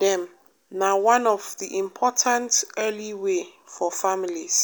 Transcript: dem na one of the important early way for families.